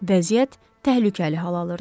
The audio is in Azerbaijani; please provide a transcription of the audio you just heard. Vəziyyət təhlükəli hal alırdı.